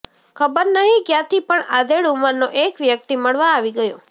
ખબર નહીં ક્યાંથી પણ આધેડ ઉંમરનો એક વ્યક્તિ મળવા આવી ગયો